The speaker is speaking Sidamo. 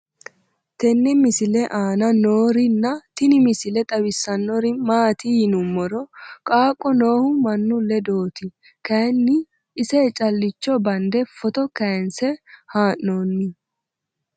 tenne misile aana noorina tini misile xawissannori maati yinummoro qaaqo noohu mannu ledootti kayiinni ise caliichcho bande footto kayiinse haa'noonni